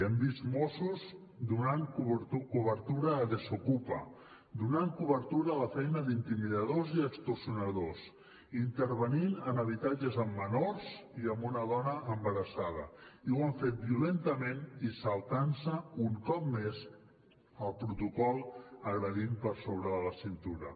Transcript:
hem vist mossos donant cobertura a desokupa donant cobertura a la feina d’intimidadors i extorsionadors intervenint en habitatges amb menors i amb una dona embarassada i ho han fet violentament i saltant se un cop més el protocol agredint per sobre de la cintura